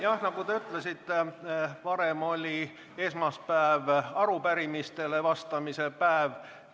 Jah, nagu te ütlesite, varem oli esmaspäev arupärimistele vastamise päev.